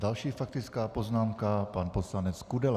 Další faktická poznámka - pan poslanec Kudela.